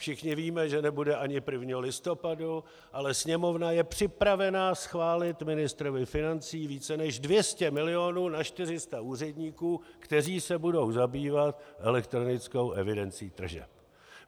Všichni víme, že nebude ani 1. listopadu, ale Sněmovna je připravena schválit ministrovi financí více než 200 milionů na 400 úředníků, kteří se budou zabývat elektronickou evidencí tržeb.